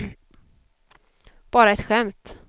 bara ett skämt